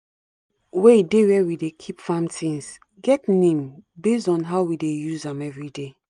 every hoe wey dey where we dey keep farm things get name base on how we dey use am everyday